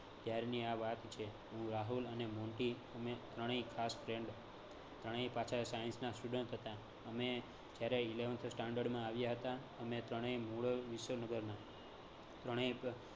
ત્યારની આ વાત છે. હું, રાહુલ અને મોન્ટી અમે ત્રણેય ખાસ friend ત્રણેય પાછા science ના student હતા. અમે જયારે eleventh standard માં આવ્યા હતા અમે ત્રણેય મોરલ વિશ્વનગરના ત્રણેય